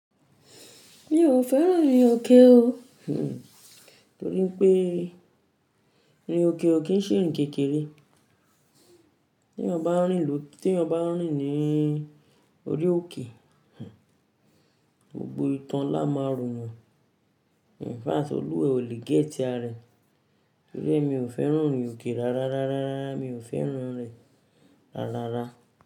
Mi ò fẹ́ràn ìrin òkè o, torí npé ìrin òkè ò kí ń ṣe ìrìn kékeré. Tí èèyàn ba ń rìn ní orí òkè, gbogbo ìtàn lá máa ro yàn. Ìfáàti Olúwẹ ò lè gé ti aré. Torí mi ò fẹ́ràn irin òkè rárá, rárá, rárá, mi ò fẹ́ràn rẹ̀ rárá.